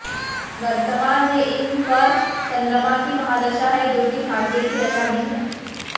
वर्तमान में इन पर चंद्रमा की महादशा है जो कि भाग्य की दशा भी है